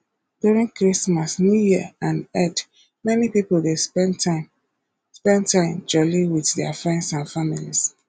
during christmas new year and eid many pipo dey spend time spend time jolli with their friends and families